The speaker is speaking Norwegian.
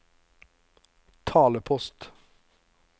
talepost